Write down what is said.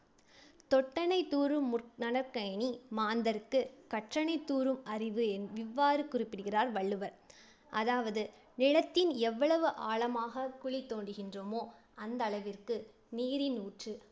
தொட்டனை தூறும் மு~ மணற்கேணி மாந்தர்க்குக் கற்றனைத் தூறும் அறிவு இவ்வாறு குறிப்பிடுகிறார் வள்ளுவர். அதாவது நிலத்தின் எவ்வளவு ஆழமாக குழி தோண்டுகின்றோமோ அந்தளவிற்கு நீரின் ஊற்று